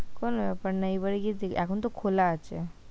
কোন ব্যাপার নয় এবারে গিয়ে দেখবি। এখন তো খোলা আছে,